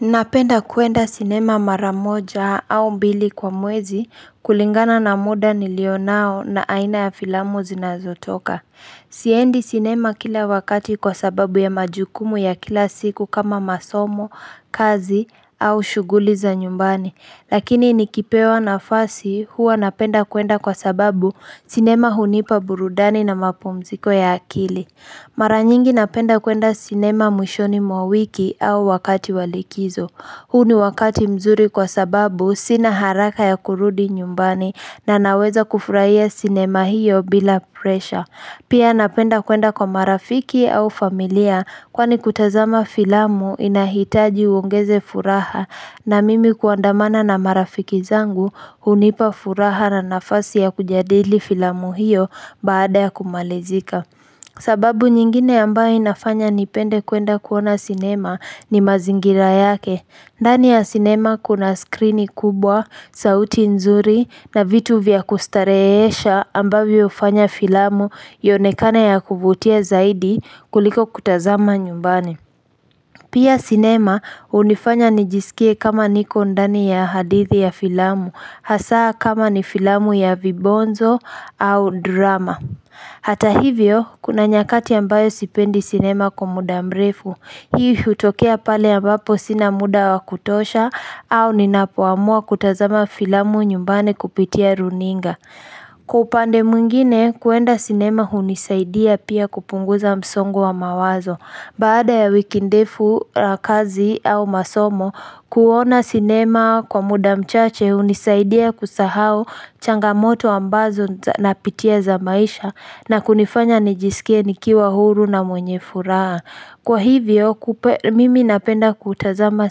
Napenda kuenda sinema mara moja au mbili kwa mwezi kulingana na muda nilionao na aina ya filamu zinazotoka. Siendi sinema kila wakati kwa sababu ya majukumu ya kila siku kama masomo, kazi au shughuli za nyumbani. Lakini nikipewa nafasi huwa napenda kuenda kwa sababu sinema hunipa burudani na mapumziko ya akili. Mara nyingi napenda kuenda sinema mwishoni mwa wiki au wakati wa likizo. Huu ni wakati mzuri kwa sababu sina haraka ya kurudi nyumbani na naweza kufurahia sinema hiyo bila pressure. Pia napenda kuenda kwa marafiki au familia kwani kutazama filamu inahitaji uongeze furaha, na mimi kuandamana na marafiki zangu hunipa furaha na nafasi ya kujadili filamu hiyo baada ya kumalizika. Sababu nyingine ambayo inafanya nipende kuenda kuona sinema ni mazingira yake. Ndani ya sinema kuna skrini kubwa, sauti nzuri na vitu vya kustarehesha ambavyo hufanya filamu ionekane ya kuvutia zaidi kuliko kutazama nyumbani Pia sinema hunifanya nijisikie kama niko ndani ya hadithi ya filamu hasa kama ni filamu ya vibonzo au drama Hata hivyo, kuna nyakati ambayo sipendi sinema kwa muda mrefu, hii hutokea pale ambapo sina muda wa kutosha au ninapoamua kutazama filamu nyumbani kupitia runinga. Kwa upande mwingine, kuenda sinema hunisaidia pia kupunguza msongo wa mawazo. Baada ya wiki ndefu ya kazi au masomo kuona sinema kwa muda mchache hunisaidia kusahau changamoto ambazo napitia za maisha na kunifanya nijisikie nikiwa huru na mwenye furaha. Kwa hivyo mimi napenda kutazama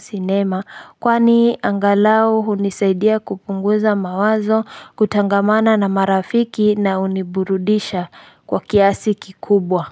sinema kwani angalau hunisaidia kupunguza mawazo, kutangamana na marafiki na huniburudisha kwa kiasi kikubwa.